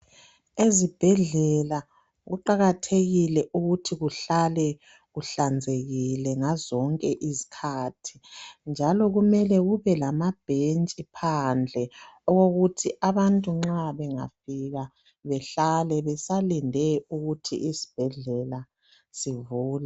Ezibhedlela kuqakathekile ukuthi kuhlale kuhlanzekile ngazonke izikhathi, njalo kumele kubelamabhentshi phandle okokuthi abantu nxa bengafika behlale besalinde ukuthi isibhedlela sivulwe